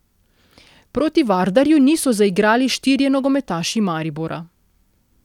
Proti Vardarju niso zaigrali štirje nogometaši Maribora.